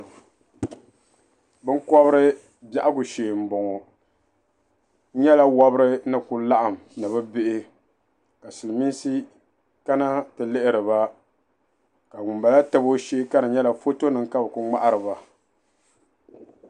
Binkɔbiri biɛhigu shee m-bɔŋɔ n nyala wɔbiri ni kuli laɣim ni bɛ bihi ka silimiinsi kana nti lihiri ba ka ŋumbala tabi o shee ka di nyɛla fotonima ka bɛ kuli ŋmahiri ba.